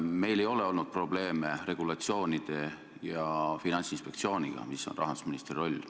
Meil ei ole olnud probleeme regulatsioonide ja Finantsinspektsiooniga.